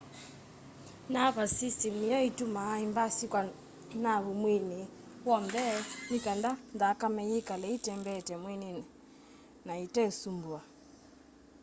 nervous system niyo itumaa imbasi kwa naavu mwiini w'on the nikenda nthakame yikale itembeete mwiini na ite usumbuwa